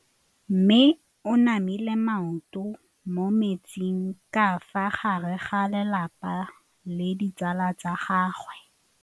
Mme o namile maoto mo mmetseng ka fa gare ga lelapa le ditsala tsa gagwe.